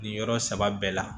Nin yɔrɔ saba bɛɛ la